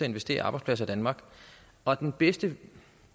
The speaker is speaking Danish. investere i arbejdspladser i danmark og den bedste